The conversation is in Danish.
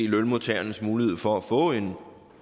lønmodtagernes muligheder for at få en